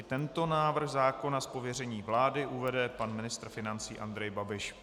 I tento návrh zákona z pověření vlády uvede pan ministr financí Andrej Babiš.